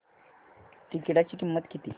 तिकीटाची किंमत किती